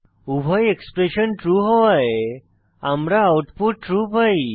উভয় expression true হওয়ায় আমরা আউটপুট ট্রু পাই